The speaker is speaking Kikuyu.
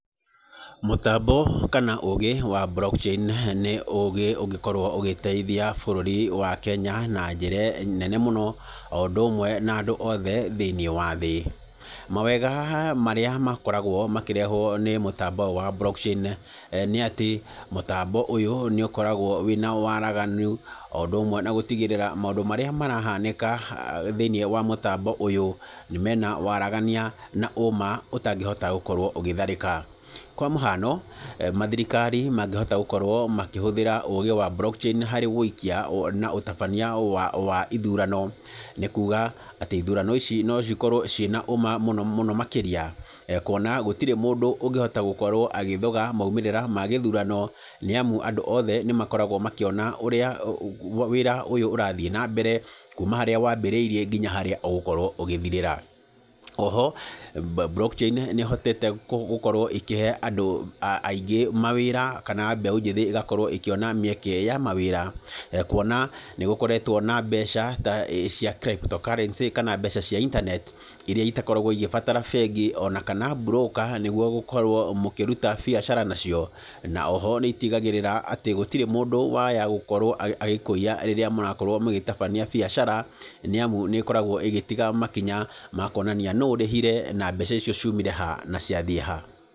Mũtambo kana ũũgĩ wa block chain nĩ ũũgĩ ũngĩkorwo ũgĩteithia bũrũri wa Kenya na njĩra nene mũno, o ũndũ ũmwe na andũ othe thĩiniĩ wa thĩ. Mawega marĩa makoragwo makĩrehwo nĩ mũtambo ũyũ wa block chain, nĩ atĩ, mũtambo ũyũ nĩ ũkoragwo wĩna waraganu, o ũndũ ũmwe na gũtigĩrĩra maũndũ marĩa marahanĩka thĩiniĩ wa mũtambo ũyũ, nĩ mena waragania na ũũma ũtangĩhota gũkorwo ũgĩtharĩka. Kwa mũhano, mathirikari mangĩhota gũkorwo makĩhũthĩra ũũgĩ wa block chain harĩ ũũkia na ũtabania wa wa ithurano, nĩ kuuga, atĩ ithurano ici no cikorwo cina ũũma mũno mũno makĩria. Kuona gũtirĩ mũndũ ũngĩhota gũkorwo agĩthoga maumĩrĩra ma gĩthurano, nĩ amu andũ othe nĩ makoragwo makĩona ũrĩa wĩra ũyũ ũrathiĩ na mbere, kuuma harĩa wambĩrĩirire nginya harĩa ũgũkorwo ũgĩthirĩra. Oho, block chain nĩ ĩhotete gũkorwo ĩkĩhe andũ aingĩ mawĩra, kana mbeũ njĩthĩ ĩgakorwo ĩkĩona mĩeke ya mawĩra, kuona nĩ gũkoretwo na mbeca ta cia crypto currency kana mbeca cia internet, irĩa itakoragwo igĩbatara bengi, ona kana mburũka nĩguo gũkorwo mũkĩruta biacara nacio. Na oho nĩ itigagĩrĩra atĩ gũtirĩ mũndũ waya gũkorwo agĩkũiya rĩrĩa mũrakorwo mũgĩtabania biacara, nĩ amu nĩ ĩkoragwo ĩgĩtiga makinya ma kuonania nũũ ũrĩhire, na mbeca icio ciumire ha na ciathiĩ ha.